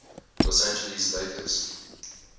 los angeles lakers